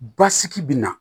Basigi bɛ na